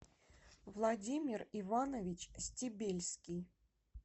владимир иванович стебельский